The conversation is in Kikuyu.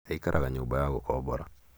Aikaraga nyũmba ya gũkombora